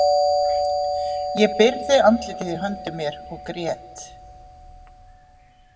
Ég byrgði andlitið í höndum mér og grét.